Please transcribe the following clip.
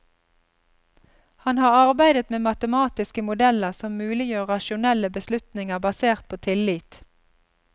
Han har arbeidet med matematiske modeller som muliggjør rasjonelle beslutninger basert på tillit.